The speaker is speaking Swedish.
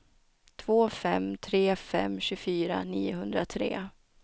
två fem tre fem tjugofyra niohundratre